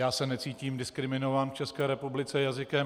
Já se necítím diskriminován v České republice jazykem.